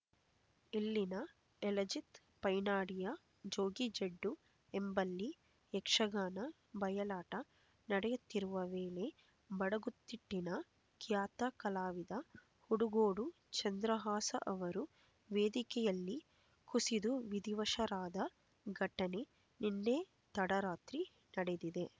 ಇಲ್ಲಿನ ಎಳಜಿತ್ ಪೈನಾಡಿಯ ಜೋಗಿಜಡ್ಡು ಎಂಬಲ್ಲಿ ಯಕ್ಷಗಾನ ಬಯಲಾಟ ನಡೆಯುತ್ತಿರುವ ವೇಳೆ ಬಡಗುತಿಟ್ಟಿನ ಖ್ಯಾತ ಕಲಾವಿದ ಹುಡುಗೋಡು ಚಂದ್ರಹಾಸ ಅವರು ವೇದಿಕೆಯಲ್ಲೇ ಕುಸಿದು ವಿಧಿವಶರಾದ ಘಟನೆ ನಿನ್ನೆ ತಡರಾತ್ರಿ ನಡೆದಿದೆ